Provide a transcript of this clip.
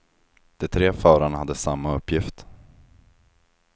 De tre förarna hade samma uppgift.